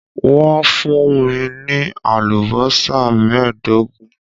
Wọ́n fún mi ní àlùbọ́sà mẹ́ẹ̀ẹ́dógún